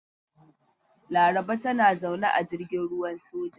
Laraba tana zaune a jirgin ruwan soja.